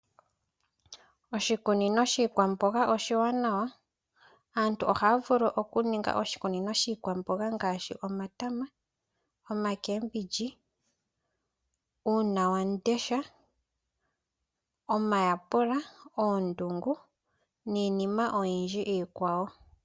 Oshikunino shiikwamboga oshiwanwa. Aantu ohaya vulu okuninga oshikunino shiikwamboga ngaashi omatama, oomboga, uunawamundesha, omayapula, oondungu niinima iikwawo oyindji.